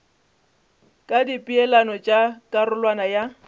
ka dipeelano tša karolwana ya